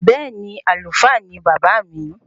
Bẹẹni, Àlùfáà ni baba mi